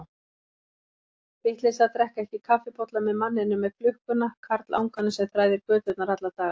Vitleysa að drekka ekki kaffibolla með manninum með klukkuna, karlanganum sem þræðir göturnar alla daga.